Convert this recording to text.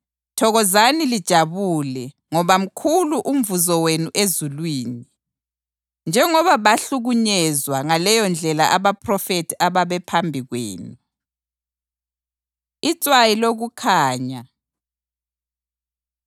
Thokozani lijabule ngoba mkhulu umvuzo wenu ezulwini, njengoba bahlukunyezwa ngaleyondlela abaphrofethi ababephambi kwenu.” Itswayi Lokukhanya